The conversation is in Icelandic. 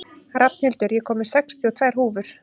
Rafnhildur, ég kom með sextíu og tvær húfur!